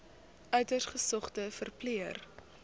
uiters gesogde verpleër